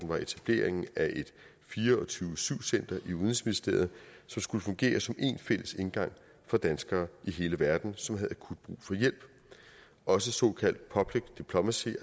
var etableringen af et fire og tyve syv center i udenrigsministeriet som skulle fungere som én fælles indgang for danskere i hele verden som havde akut brug for hjælp også såkaldt public diplomacy